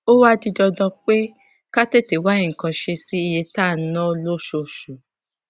ó wá di dandan pé ká tètè wá nǹkan ṣe sí iye tá à ń ná lóṣooṣù